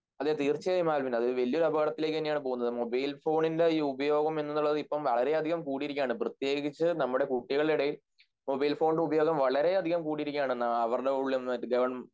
അതെ തീർച്ചയായും ആൽവിൻ അത് വലിയൊരു അപകടത്തിലേക്കാണ് പോവുന്നത് മൊബൈൽഫോണിൻറെ ഈ ഉപയോഗം എന്നത് ഇപ്പോൾ വളരെയതികം കൂടിയിരിക്കുകയാണ് പ്രേത്യേകിച്ച് നമ്മുടെ കുട്ടികളുടെ ഇടയിൽ മൊബൈൽഫോണിൻറെ ഉപയോഗം വളരെയധികം കൂടിയിരിക്കുകയാണ്